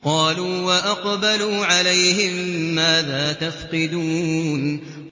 قَالُوا وَأَقْبَلُوا عَلَيْهِم مَّاذَا تَفْقِدُونَ